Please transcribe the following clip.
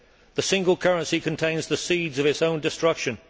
The single currency contains the seeds of its own destruction.